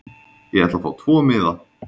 Ég ætla að fá tvo miða.